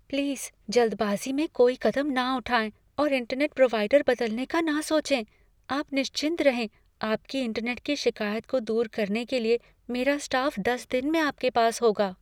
Please जल्दबाज़ी में कोई कदम न उठाएँ और इंटरनेट प्रोवाइडर बदलने का ना सोचें, आप निश्चिंत रहें आपकी इंटरनेट की शिकायत को दूर करने के लिए मेरा स्टाफ दस मिनट में आपके पास होगा।